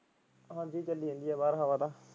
ਹਾਂਜੀ ਚੱਲੀ ਜਾਂਦੀ ਆ ਬਾਹਰ ਹਵਾ ਤਾਂ।